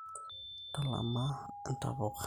ntalama entapukai